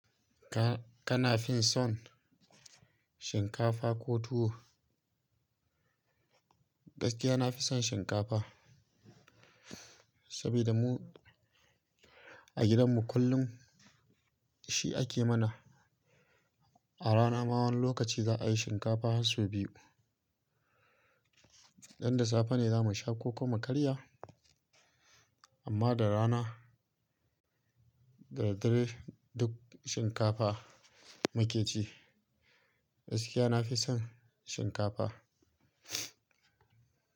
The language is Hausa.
Ka-kana fi son shinkafa ko tuwo? Gaskiya nafi son shinkafa, sabida mu a gidanmu kullum shi ake mana. A rana ma wani lokaci za'a yi shinkafa has sau biyu. Dan da safe ne za mu sha koko mu karya, amma da rana da daddare duk shinkafa mu ke ci. Gaskiya nafi son shinkafa.